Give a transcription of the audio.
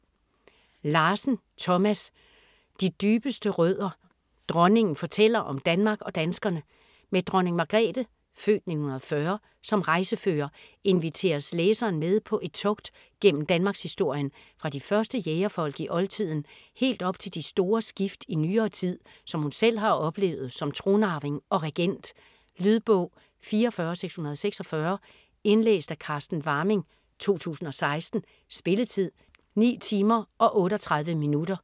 Larsen, Thomas: De dybeste rødder: dronningen fortæller om Danmark og danskerne Med Dronning Margrethe (f. 1940) som rejsefører inviteres læseren med på et togt gennem danmarkshistorien - fra de første jægerfolk i oldtiden helt op til de store skift i nyere tid, som hun selv har oplevet som tronarving og regent. Lydbog 44646 Indlæst af Carsten Warming, 2016. Spilletid: 9 timer, 38 minutter.